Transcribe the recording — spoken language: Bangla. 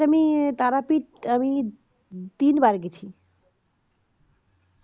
হ্যাঁ তারাপীঠ আমি তিন বার গেছি